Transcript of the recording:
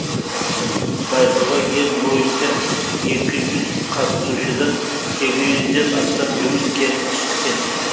байқауға ел бойынша екі жүз қатысушыдан сегіз жүзден астам жұмыс келіп түскен